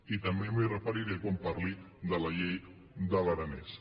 i també m’hi referiré quan parli de la llei de l’aranès